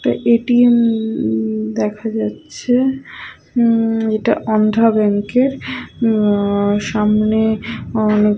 একটা A. T. এম.-অ দেখা যাচ্ছে উম এটা আন্ধ্রা ব্যাংকের উম সামনে--